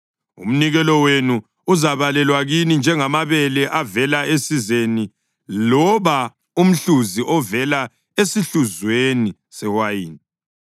Umnikelo wenu uzabalelwa kini njengamabele avela esizeni loba umhluzi ovela esihluzweni sewayini.